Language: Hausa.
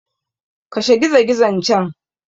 Kashe gizogizon can!